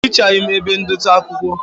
Ehichaghi m ebe ndote akwụkwọ